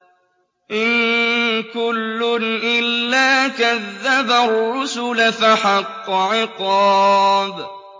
إِن كُلٌّ إِلَّا كَذَّبَ الرُّسُلَ فَحَقَّ عِقَابِ